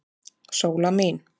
Sóla mín.